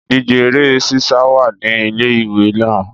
Ìdíje Eré sísá wà ní ilé ìwé wa